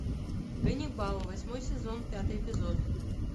ганнибал восьмой сезон пятый эпизод